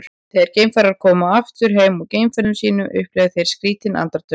þegar geimfarar koma aftur heim úr geimferðum sínum upplifa þeir skrýtin andartök